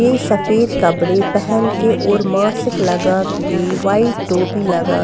सफेद कपड़े पहन के और मासिक लगा कि व्हाइट टोपी लगा--